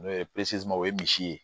N'o ye o ye misi ye